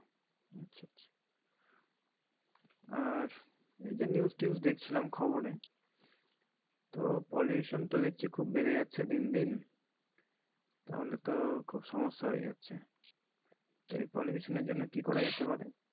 আর এই যে news তিউস দেখছিলাম খবরে তো pollution তো দেখছি খুব বেরে যাচ্ছে দিনদিন তাহলে তো খুব সমস্যা হয়ে যাচ্ছে। এই pollution এর জন্যে কি করা যেতে পারে?